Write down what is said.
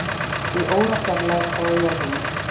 Í órafjarlægð frá jörðinni